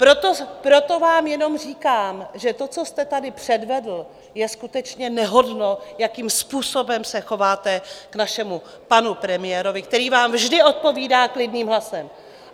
Proto vám jenom říkám, že to, co jste tady předvedl, je skutečně nehodno, jakým způsobem se chováte k našemu panu premiérovi, který vám vždy odpovídá klidným hlasem.